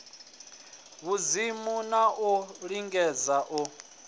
vhudzimu na u lingedza u